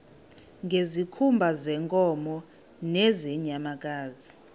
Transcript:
ngezikhumba zeenkomo nezeenyamakazi